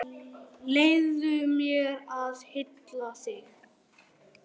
LÁRUS: Ég skal aðstoða yður.